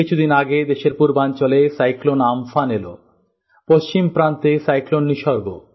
কিছুদিন আগে দেশের পূর্বাঞ্চলে সাইক্লোন উমপুন এল পশ্চিম প্রান্তে সাইক্লোন নিসর্গ